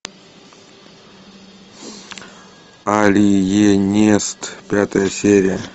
алиенист пятая серия